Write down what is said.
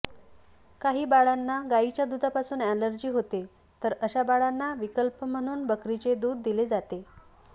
काही बाळांना गायीच्या दुधापासून अॅलर्जी होते तर अशा बाळांना विकल्प म्हणून बकरीचे दूध दिले जाते